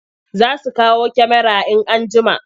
Za su kawo kyamarar in an jima.